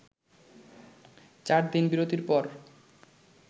চারদিন বিরতির পর